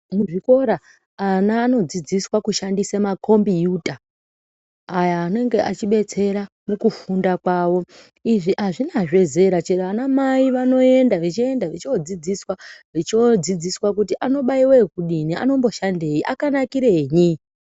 Muzvikora ana anodzidziswa kushandisa makombiyuta aya anenge achibetsera mukufunda kwawo, izvi azvinazve zera chero anamai vanoenda vechienda vochodzidziswa vochodzidziswa kuti anobaiwa ekudini, anomboshandei akanakirei .